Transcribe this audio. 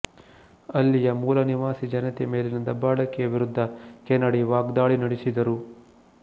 ಅಲ್ಲಿಯ ಮೂಲನಿವಾಸಿ ಜನತೆಯ ಮೇಲಿನ ದಬ್ಬಾಳಿಕೆಯ ವಿರುದ್ಧ ಕೆನಡಿ ವಾಗ್ದಾಳಿ ನಡೆಸಿದರು